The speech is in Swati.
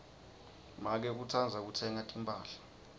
make utsandza kutsenga timphahla